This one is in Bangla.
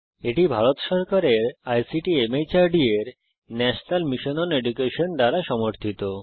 এটি ভারত সরকারের আইসিটি মাহর্দ এর ন্যাশনাল মিশন ওন এডুকেশন দ্বারা সমর্থিত